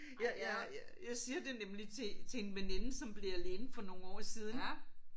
Jeg jeg jeg siger det nemlig til til en veninde som blev alene for nogle år siden